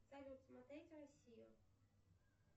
салют смотреть россию